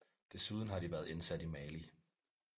Desuden har de været indsat i Mali